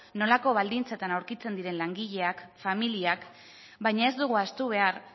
nolako baldintzetan aurkitzen diren langileak familiak baina ez dugu ahaztu behar